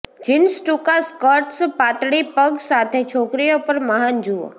jeans ટૂંકા skirts પાતળી પગ સાથે છોકરીઓ પર મહાન જુઓ